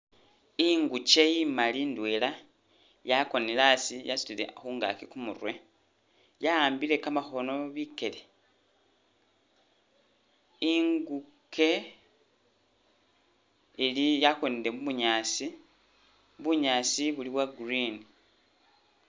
Ingukye imali ndwela, yakonele a'asi yasutile khu ngakyi kumurwe, ya'ambile ka makhono bikele, ingukye ili-yakonele mu bunyaasi, bunyaasi buli bwa green